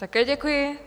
Také děkuji.